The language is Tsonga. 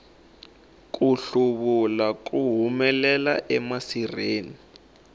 ku hluvula ku humelela emasirheni